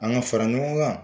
An ka fara ɲɔgɔn kan.